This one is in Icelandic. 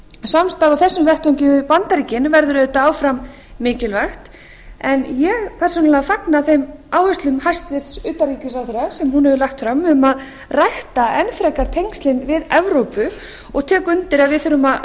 samstarf á þessum vettvangi við bandaríkin verður auðvitað áfram mikilvægt en ég persónulega fagna þeim áherslum hæstvirts utanríkisráðherra sem hún hefur lagt fram um að rækta enn frekar tengslin við evrópu og tek undir að við þurfum að